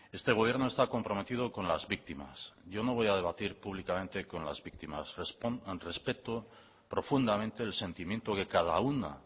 este gobierno está comprometido con las víctimas yo no voy a debatir públicamente con las víctimas respeto profundamente el sentimiento que cada una